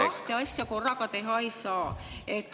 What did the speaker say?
… öelnud, et kahte asja korraga teha ei saa.